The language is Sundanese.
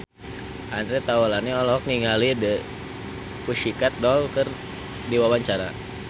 Andre Taulany olohok ningali The Pussycat Dolls keur diwawancara